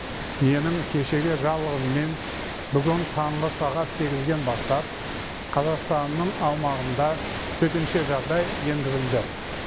менің кешегі жарлығыммен бүгін таңғы сағат сегізден бастап қазақстанның аумағында төтенше жағдай енгізілді